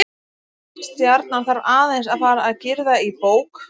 Stjarnan þarf aðeins að fara að girða í bók.